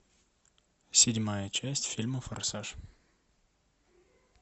седьмая часть фильма форсаж